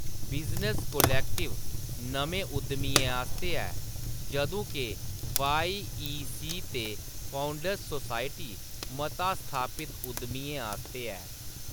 Business collective नमें उद्यमियें आस्तै ऐ जदूं के वाई. ई. सी. ते फाउंडर्स सोसायटी मता स्थापित उद्यमियें आस्तै ऐ।